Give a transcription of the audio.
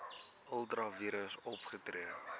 ultra vires opgetree